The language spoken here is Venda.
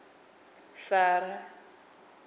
sara